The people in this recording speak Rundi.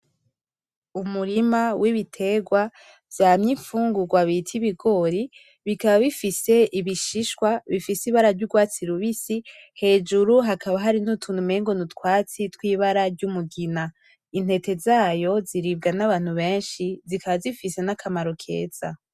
Umurima wibiterwa vyamye imfungurwa bita ibigori, bikaba bifise ibishishwa bifise ibara ryurwatsi rubisi, hejuru hakaba hariko utuntu umengo nutwatsi twibara y'umugina. Intete zayo ziribwa nabantu benshi zikaba zifise nakamaro keza.